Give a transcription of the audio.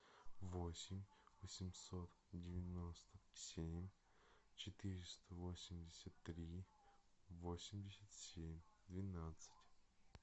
восемь восемьсот девяносто семь четыреста восемьдесят три восемьдесят семь двенадцать